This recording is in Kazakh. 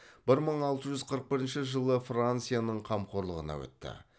бір мың алты жүз қырық бірінші жылы францияның қамқорлығына өтті